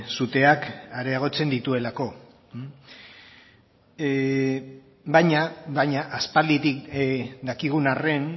suteak areagotzen dituelako baina aspalditik dakigun arren